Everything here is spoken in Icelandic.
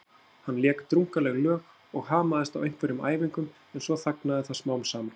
Hann lék drungaleg lög og hamaðist á einhverjum æfingum en svo þagnaði það smám saman.